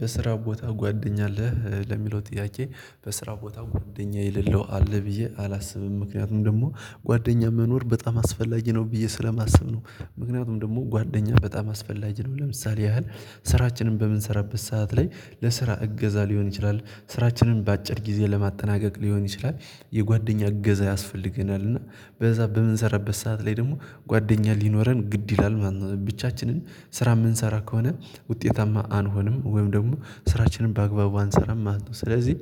በስራ ቦታ ጓደኛ አለህ ለሚለው ጥያቄ በስራ ቦታ ጓደኛ የሌለው አለ ብዬ አላስብም። ምክንያቱም ደግሞ ጓደኛ መኖር በጣም አስፈላጊ ነው ብዬ ስለማስብ ነው። ምክንያቱም ደግሞ ጓደኛ በጣም አስፈላጊ ነው። ለምሳሌ ያህል ስራችንን በምንሰራበት ሰዓት ላይ ለስራ እገዛ ሊሆን ይችላል። ስራችንን በአጭር ጊዜ ለማጠናቀቅ ሊሆን ይችላል። የጓደኛ እገዛ ያስፈልገናል። እና በዛ በምንሰራበት ሰዓት ላይ ደግሞ ጓደኛ ሊኖረን ግድ ይላል ማለት ነው። ብቻችንን ስራ የምንሰራ ከሆነ ውጤታማ አንሆንም። ወይም ደግሞ ስራችንን በአግባቡ አንሰራም ማለት ነው። ስለዚህ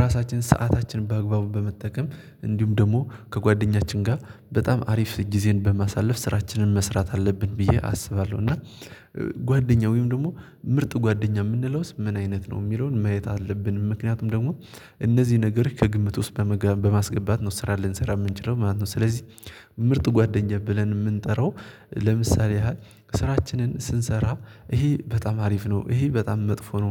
ራሳችን ሰዓታችን በአግባቡ በመጠቀም እንዲሁም ደግሞ ከጓደኛችን ጋር በጣም አሪፍ ጊዜን በማሳለፍ ስራችንን መስራት አለብን ብዬ አስባለሁ። እና ጓደኛ ወይም ደግሞ ምርጥ ጓደኛ የምንለውስ ምን አይነት ነው? የሚለውን ማየት አለብን ምክንያቱም ደግሞ እነዚህ ነገር ከግምት ውስጥ በመግባት በማስገባት ነው ስራ ልንሰራ የምንችለው ማለት ነው። ስለዚህ ምርጥ ጓደኛዬ ብለን የምንጠራው ለምሳሌ ያህል ስራችንን ስንሰራ ይሄ በጣም አሪፍ ነው። ይሄ በጣም መጥፎ ነው።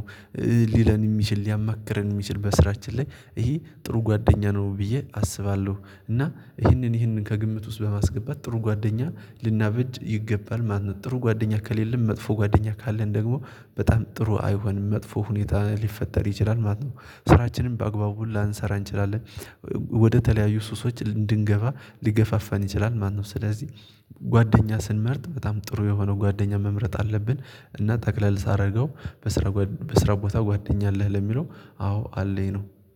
ሊለን የሚችል ሊያማክረን የሚችል በስራችን ላይ ይሄ ጥሩ ጓደኛ ነው ብዬ አስባለሁ። እና ይህንን ይህንን ከግምት ውስጥ በማስገባት ጥሩ ጓደኛ ልናበጅ ይገባል ማለት ነው። ጥሩ ጓደኛ ከሌለም መጥፎ ጓደኛ ካለን ደግሞ በጣም ጥሩ አይሆንም መጥፎ ሁኔታ ሊፈጠር ይችላል ማለት ነው። ስራችንን በአግባቡ ላንሰራ እንችላለን። ወደተለያዩ ሱሶች እንድንገባ ሊገፋፋን ይችላል ማነው? ስለዚህ ጓደኛ ስንመርጥ በጣም ጥሩ የሆነው ጓደኛ መምረጥ አለብን። እና ጠቅለል ሳደርገው በስራ በስራ ቦታ ጓደኛ አለህ ለሚለው አዎ አለኝ ነው